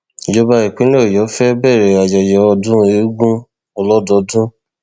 ìjọba ìpínlẹ ọyọ fẹẹ bẹrẹ ayẹyẹ ọdún eegun ọlọdọọdún